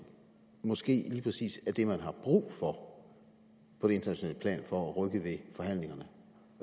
måske lige præcis er det man har brug for på internationalt plan for at rykke ved forhandlingerne